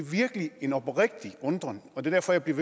virkelig en oprigtig undren og derfor bliver